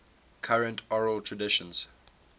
current oral traditions